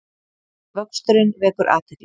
Vöxturinn vekur athygli